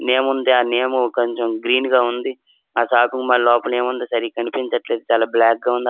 నేముంది ఆ నేము కొంచెం గ్రీన్గా ఉంది. ఆ షాపింగ్ మాల్ లోపల ఏముందో సరిగ్గా కనిపించట్లేదు. చాలా బ్లాక్ గా ఉంది. ఆ --